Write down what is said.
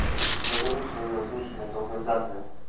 догоню своё обещанное долгожданное